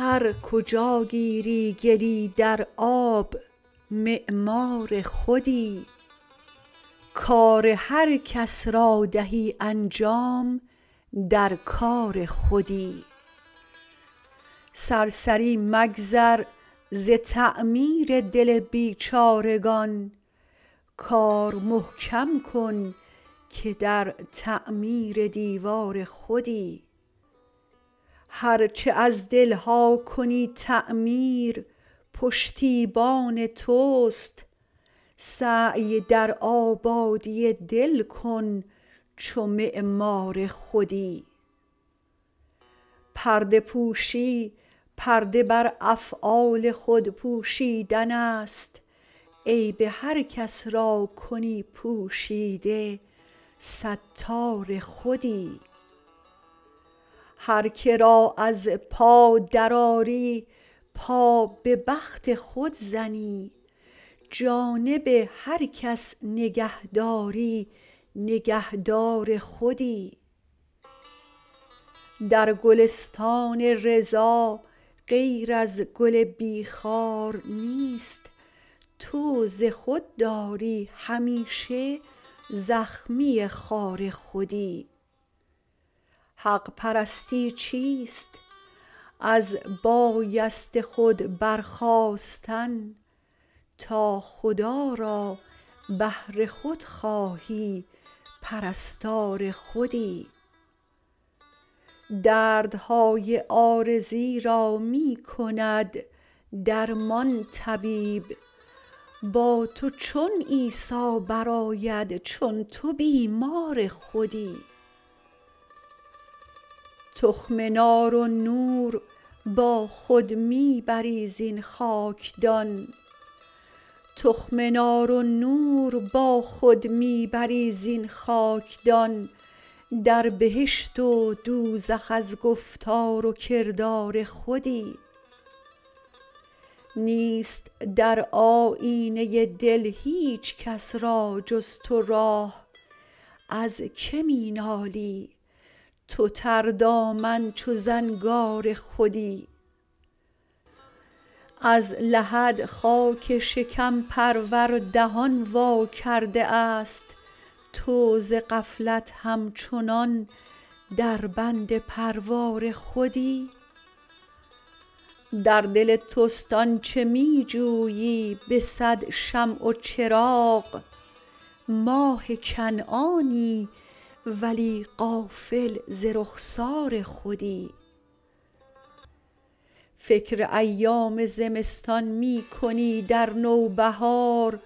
هر کجاگیری گلی در آب معمار خودی کار هر کس را دهی انجام در کار خودی سرسری مگذر ز تعمیر دل بیچارگان کار محکم کن که در تعمیر دیوار خودی هر چه از دلها کنی تعمیر پشتیبان توست سعی در آبادی دل کن چو معمار خودی پرده پوشی پرده بر افعال خود پوشیدن است عیب هر کس را کنی پوشیده ستار خودی هر که را از پا درآری پا به بخت خود زنی جانب هر کس نگه داری نگهدار خودی در گلستان رضا غیر از گل بی خار نیست تو ز خود داری همیشه زخمی خار خودی حق پرستی چیست از بایست خود برخاستن تا خدا را بهر خود خواهی پرستار خودی دردهای عارضی را می کند درمان طبیب با تو چون عیسی برآید چون تو بیمار خودی تخم نار و نور با خود می بری زین خاکدان در بهشت و دوزخ از گفتار و کردار خودی نیست در آیینه دل هیچ کس را جز تو راه از که می نالی تو تردامن چو زنگار خودی از لحد خاک شکم پرور دهان وا کرده است تو ز غفلت همچنان در بند پروار خودی در دل توست آنچه می جویی به صد شمع و چراغ ماه کنعانی ولی غافل ز رخسار خودی فکر ایام زمستان می کنی در نوبهار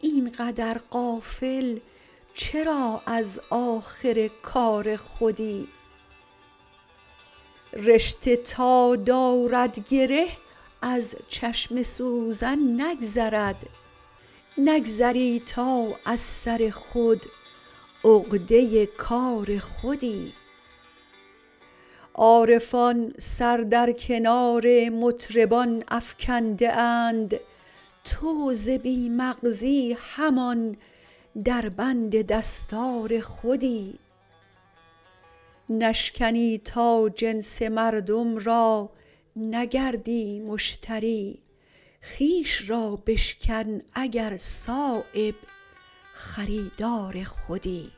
اینقدر غافل چرا از آخر کار خودی رشته تا دارد گره از چشم سوزن نگذرد نگذری تا از سر خود عقده کار خودی عارفان سر در کنار مطربان افکنده اند تو ز بی مغزی همان در بند دستار خودی نشکنی تا جنس مردم را نگردی مشتری خویش را بشکن اگر صایب خریدار خودی